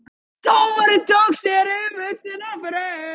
Dómari tók sér umhugsunarfrest